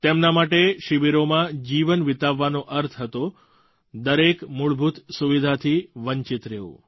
તેમના માટે શિબિરોમાં જીવન વિતાવવાનો અર્થ હતો દરેક મૂળભૂત સુવિધાથી વંચિત રહેવું